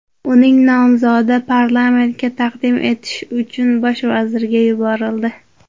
Uning nomzodi parlamentga taqdim etish uchun bosh vazirga yuborildi.